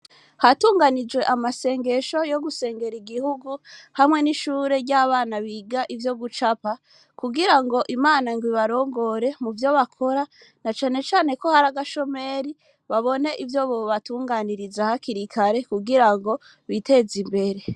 Hatunganije amasengesho yo gusengera igihugu hamwe n'ishure ry'abana biga ivyo gucapa kugira ngo imana ngo ibarongore mu vyo bakora na canecane ko hari agashomeri babone ivyo bobatunganiriza hakirikare kugira ngo biteze imbere.